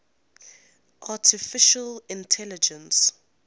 artificial intelligence